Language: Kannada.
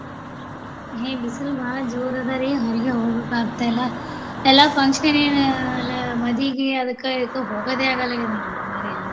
ಏ ಬಿಸಿಲು ಬಾಳ ಜೋರ್ ಅದರಿ ಹೊರಗೆ ಹೋಗೋಕ ಆಗ್ತಾ ಇಲ್ಲ ಎಲ್ಲ function ಆಹ್ ಏನ ಆಹ್ ಮದ್ವಿಗಿ ಅದಕ್ಕ ಇದಕ್ಕ ಹೋಗೋದೆ ಆಗ್ವಲ್ಲಾಗದೆ ನೋಡ್ರಿ ನಮಗಾರ ಏನ.